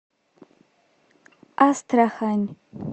астрахань